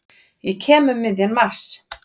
Ég kem um miðjan mars.